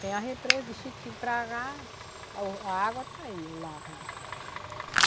Tem a represa de xique-xique para, a o a água está aí, o largo.